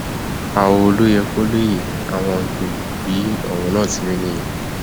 àwọ ló yẹ kó lè yé àwọn ọgbẹrì bí ọrọ náà ti rí nìyẹn